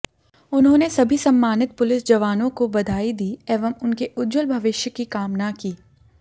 उन्होंने सभी सम्मानित पुलिस जवानों को बधाई दी एवं उनके उज्ज्वल भविष्य की कामना की